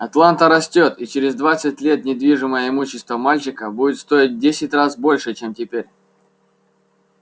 атланта растёт и через двадцать лет недвижимое имущество мальчика будет стоить десять раз больше чем теперь